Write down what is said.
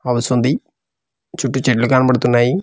పొగ వస్తుంది చుట్టూ చెట్లు కనపడుతున్నాయి.